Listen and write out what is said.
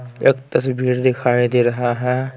एक तस्वीर दिखाई दे रहा है।